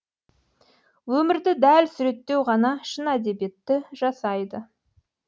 өмірді дәл суреттеу ғана шын әдебиетті жасайды